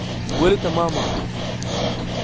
Wali tamam axay.